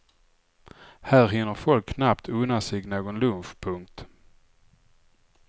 Här hinner folk knappt unna sig någon lunch. punkt